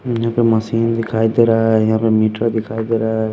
यहां पे मशीन दिखाई दे रहा है यहां पे मीटर दिखाई दे रहा है।